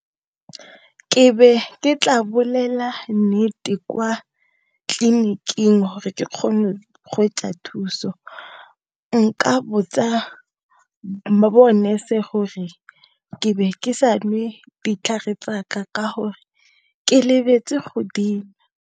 Ke be ke tla bolela nnete kwa tleliniking hore o kgone go thuso. Nka botsa bo nurse gore be ke sa nwe ditlhare tsaka ka hore ke lebetse go dinwa.